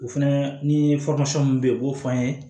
O fɛnɛ ni mun be yen u b'o fɔ an ye